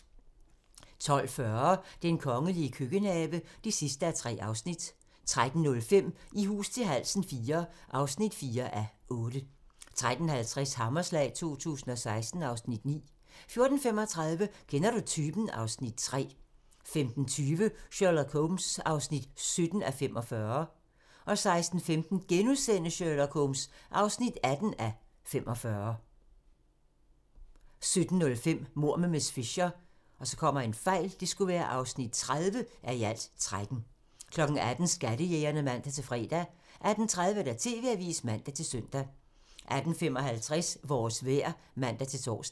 12:40: Den kongelige køkkenhave (3:3) 13:05: I hus til halsen IV (4:8) 13:50: Hammerslag 2016 (Afs. 9) 14:35: Kender du typen? (Afs. 3) 15:20: Sherlock Holmes (17:45) 16:15: Sherlock Holmes (18:45)* 17:05: Mord med miss Fisher (30:13) 18:00: Skattejægerne (man-fre) 18:30: TV-avisen (man-søn) 18:55: Vores vejr (man-tor)